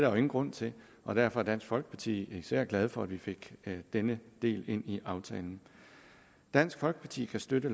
jo ingen grund til og derfor er dansk folkeparti især glad for at vi fik denne del ind i aftalen dansk folkeparti kan støtte